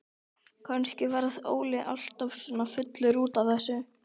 Kannski varð Óli alltaf svona fullur út af þessu.